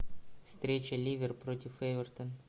встреча ливер против эвертон